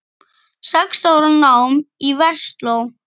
Sex ára nám í Versló.